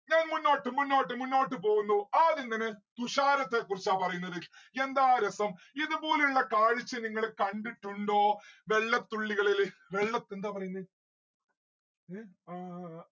ഞാൻ മുന്നോട്ട് മുന്നോട്ട് മുന്നോട്ട് പോവുന്നു ആദ്യം തന്നെ തുഷാരത്തെ കുറിച്ചാ പറയുന്നത് യെന്താ രസം ഇത് പോലുള്ള കാഴ്ച നിങ്ങള് കണ്ടിട്ടുണ്ടോ വെള്ളത്തുള്ളികളില് വെള്ളത് എന്താ പറയുന്നേ ഏ ആ ആ